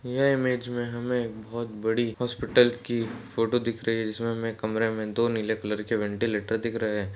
ये इमेज मे हमे बहुत बड़ी हॉस्पिटल की फोटो दिख रही है जिसमे हमे कमरे मे दो नीले कलर के वेंटीलेटर दिख रहे है।